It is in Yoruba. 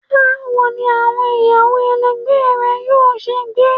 Bawo ni awọn iyawo ẹlẹgbẹ rẹ yoo ṣe gbe?